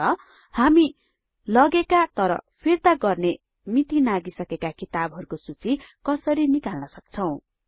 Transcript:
र हामी लगेका तर फिर्ता गर्ने मिति नाघिसकेका किताबहरुको सूची कसरी निकाल्न सक्छौं